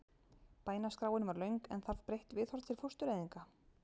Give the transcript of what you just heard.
Bænaskráin var löng en þarf breytt viðhorf til fóstureyðinga?